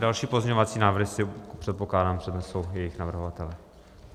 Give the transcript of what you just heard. Další pozměňovací návrhy si, předpokládám, přednesou jejich navrhovatelé.